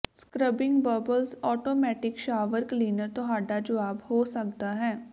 scrubbing bubbles automatic shower cleaner ਤੁਹਾਡਾ ਜਵਾਬ ਹੋ ਸਕਦਾ ਹੈ